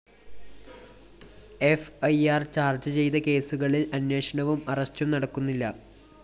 F I R charge ചെയ്ത കേസുകളില്‍ അന്വേഷണവും അറസ്റ്റും നടക്കുന്നില്ല